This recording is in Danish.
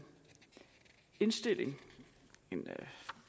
indstilling en